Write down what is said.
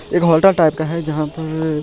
एगो हॉलटा-टाइप का है जहां पे ---